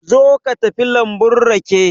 Zo ka tafi lambun rake.